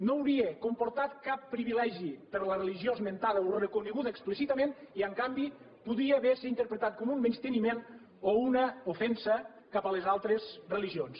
no hauria comportat cap privilegi per a la religió esmentada o reconeguda explícitament i en canvi podia haver se interpretat com un menysteniment o una ofensa cap a les altres religions